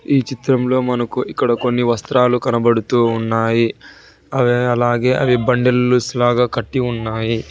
ఈ చిత్రంలో మనకు ఇక్కడ కొన్ని వస్త్రాలు కనబడుతూ ఉన్నాయి అవి అలాగే అవి బండిలుస్సు లాగా కట్టి ఉన్నాయి.